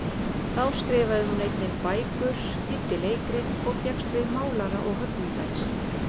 Þá skrifaði hún einnig bækur, þýddi leikrit, og fékkst við málara- og höggmyndalist.